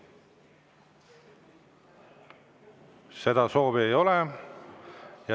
Seda soovi ei ole.